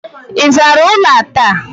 Ị zara ụlọ a taa?